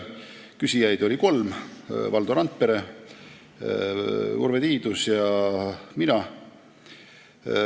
Küsijaid oli kolm: Valdo Randpere, Urve Tiidus ja mina.